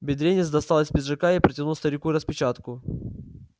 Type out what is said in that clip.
бедренец достал из пиджака и протянул старику распечатку